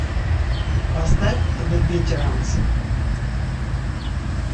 поставь зе ветеранс